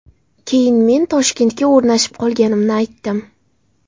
Keyin men Toshkentga o‘rnashib qolganimni aytdim.